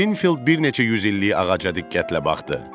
Qrinfield bir neçə yüz illik ağaca diqqətlə baxdı.